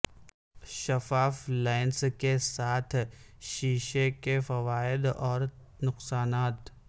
شفاف لینس کے ساتھ شیشے کے فوائد اور نقصانات